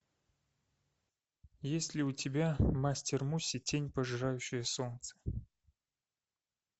есть ли у тебя мастер муси тень пожирающая солнце